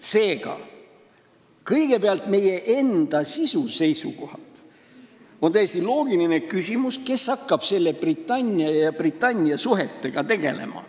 Seega, kõigepealt meie enda töö sisu seisukohalt on täiesti loogiline küsimus, kes hakkab Britannia ja nende suhetega tegelema.